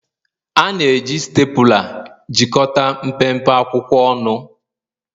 A na-eji Stapula. jikọta mpempe akwụkwọ ọnụ